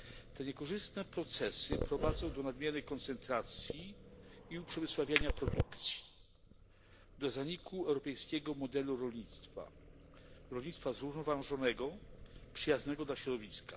Te niekorzystne procesy prowadzą do nadmiernej koncentracji i uprzemysławiania produkcji, do zaniku europejskiego modelu rolnictwa, rolnictwa zrównoważonego, przyjaznego dla środowiska.